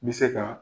N bɛ se ka